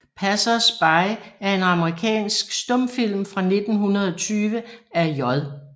Passers By er en amerikansk stumfilm fra 1920 af J